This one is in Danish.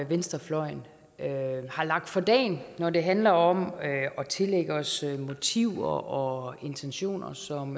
venstrefløjen har lagt for dagen når det handler om at tillægge os motiver og intentioner som